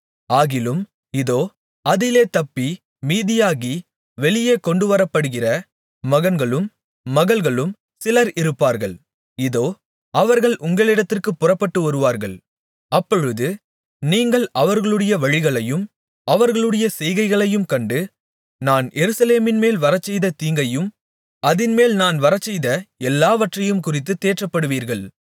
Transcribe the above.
ஆகிலும் இதோ அதிலே தப்பி மீதியாகி வெளியே கொண்டுவரப்படுகிற மகன்களும் மகள்களும் சிலர் இருப்பார்கள் இதோ அவர்கள் உங்களிடத்திற்குப் புறப்பட்டு வருவார்கள் அப்பொழுது நீங்கள் அவர்களுடைய வழிகளையும் அவர்களுடைய செய்கைகளையும் கண்டு நான் எருசலேமின்மேல் வரச்செய்த தீங்கையும் அதின்மேல் நான் வரச்செய்த எல்லாவற்றையும்குறித்துத் தேற்றப்படுவீர்கள்